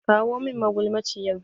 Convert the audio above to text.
Kawo min magulmaciyar!